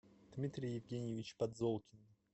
дмитрий евгеньевич подзолкин